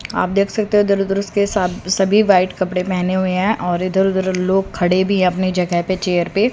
आप देख सकते हो इधर उधर उसके साथ सभी व्हाइट कपड़े पहने हुए हैं और इधर उधर लोग खड़े भीं हैं अपनी जगह पे चेयर पे।